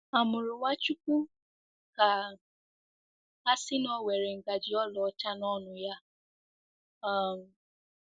A mụrụ Nwachukwu ka a sị na o were ngaji ọlaọcha n'ọnụ ya? um